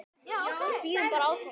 Við bíðum bara átekta.